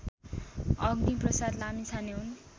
अग्निप्रसाद लामिछाने हुन्